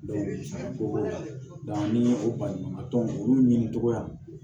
ko ni o baɲuman dɔn olu ɲini togoya